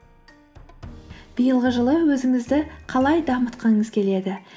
биылғы жылы өзіңізді қалай дамытқыңыз келеді